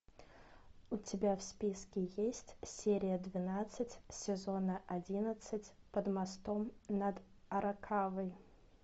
у тебя в списке есть серия двенадцать сезона одиннадцать под мостом над аракавой